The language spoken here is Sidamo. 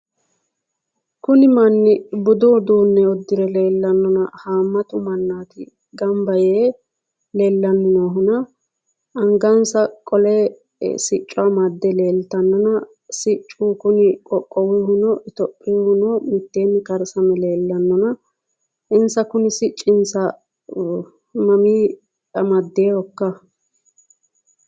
Kuni manni budu uduunne uddire leellanonnona haammattu mannaati gamba yee leellanninoohunna angansa qole sicco amade leeltanonna siccu kunni qoqowuhuno itophiunnihuno miteenni karsame leellanonna insa kunni siccinsa mamii amadeehokka?